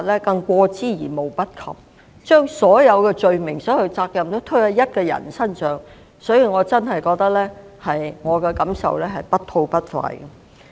他們把所有罪名和責任也推到一個人身上，確實令我感到不吐不快。